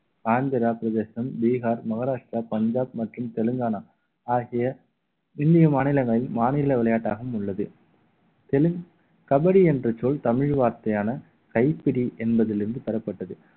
ஆந்திரா பிரதேசம் பீகார் மகாராஷ்டிரா பஞ்சாப் மற்றும் தெலுங்கானா ஆகிய இந்திய மாநிலங்களில் மாநில விளையாட்டாகவும் உள்ளது தெலுங்கு கபடி என்ற சொல் தமிழ் வார்த்தையான கைப்பிடி என்பதிலிருந்து பெறப்பட்டது